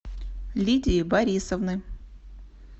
лидии борисовны